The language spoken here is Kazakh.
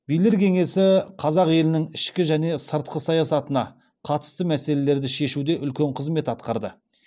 билер кеңесі қазақ елінің ішкі және сыртқы саясатына қатысты мәселелерді шешуде үлкен қызмет атқарды